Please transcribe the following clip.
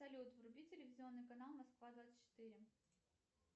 салют вруби телевизионный канал москва двадцать четыре